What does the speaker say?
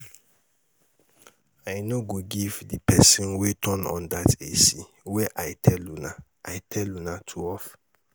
I no go give the person wey turn on dat AC wey I tell una I tell una to off